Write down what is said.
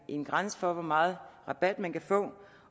en grænse for hvor meget rabat man kan få